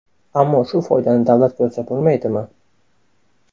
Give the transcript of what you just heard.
Ammo shu foydani davlat ko‘rsa bo‘lmaydimi?